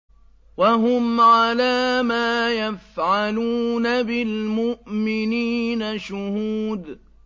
وَهُمْ عَلَىٰ مَا يَفْعَلُونَ بِالْمُؤْمِنِينَ شُهُودٌ